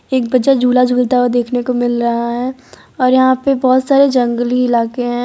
एक बच्चा झूला झूलता हुए देखने को मिल रहा है और यहां पे बहोत सारे जंगली इलाके हैं।